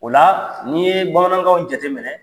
O la n'i ye bamanankan jate minɛ